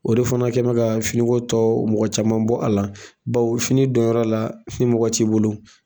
O de fana kɛ mɛ ka fini ko tɔ mɔgɔ caman bɔ a la, bawo fini donyɔrɔ la ni mɔgɔ t'i bolo